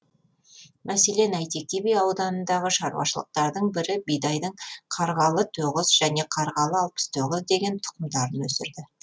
мәселен әйтеке би ауданындағы шаруашылықтардың бірі бидайдың қарғалы тоғыз және қарғалы алпыс тоғыз деген тұқымдарын өсірді